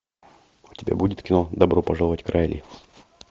у тебя будет кино добро пожаловать к райли